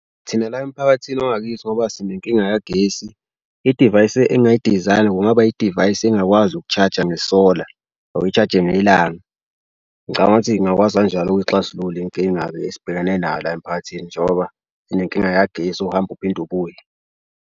Thina la emphakathini wangakithi ngoba sinenkinga yagesi, idivayisi engayi-design-a kungaba idivayisi engakwazi uku-charge-a ngesola or uyi-charge-e ngelanga. Ngicabanga ukuthi ngingakwazi kanjalo okuxazulula izinkinga le esibhekene nayo la emphakathini. Njengoba sinenkinga yagesi ohamba uphinde ubuye.